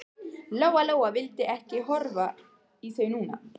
Lóa Lóa vildi ekki horfa í þau núna.